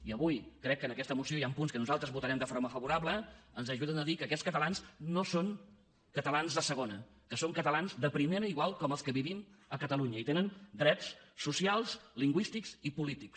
i avui crec que en aquesta moció hi han punts que nosaltres els votarem de forma favorable que ens ajuden a dir que aquests catalans no són catalans de segona que són catalans de primera igual com els que vivim a catalunya i tenen drets socials lingüístics i polítics